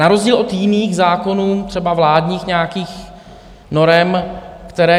Na rozdíl od jiných zákonů, třeba vládních nějakých norem, které...